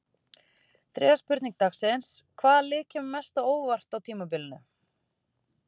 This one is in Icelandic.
Þriðja spurning dagsins: Hvaða lið kemur mest á óvart á tímabilinu?